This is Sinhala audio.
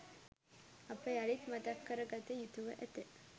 අප යළිත් මතක් කර ගත යුතුව ඇත